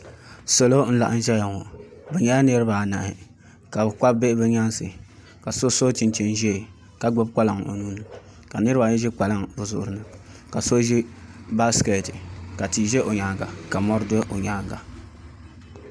Salo n laɣam ʒɛya ŋɔ bi nyɛla niraba anahi ka bi kpabi bihi bi nyaansi ka so so chinchin ʒiɛ ka gbubi kpalaŋ o nuuni ka niraba ayi ʒiri kpalaŋ bi zuɣu ni ka tia ʒɛ o nyaanga ka mori ʒɛ o nyaanga